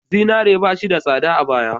Zinare ba shi da tsada a baya.